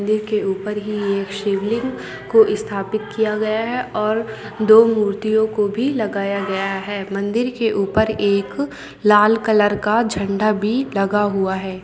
देखिए ऊपर ही एक शिवलिंग को स्थापित किया गया है और दो मूर्तियों को भी लगाया गया है मंदिर के ऊपर एक लाल कलर का झंडा भी लगा हुआ है।